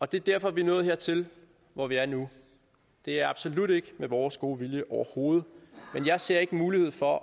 det er derfor vi er nået hertil hvor vi er nu det er absolut ikke med vores gode vilje overhovedet men jeg ser ikke mulighed for